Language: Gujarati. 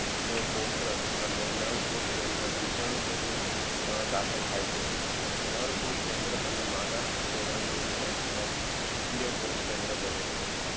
નોકોશ રસ અને નર કોશકેન્દ્ર બીજાનું માં દાખલ થઈ છે. નર કોશકેન્દ્ર અને માદા કોશકેન્દ્ર નું જોડાણ થવા થી યકોશકેન્દ્ર બને છે